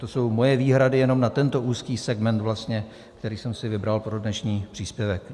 To jsou moje výhrady jenom na tento úzký segment vlastně, který jsem si vybral pro dnešní příspěvek.